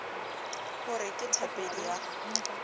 ho re ke thapedi ya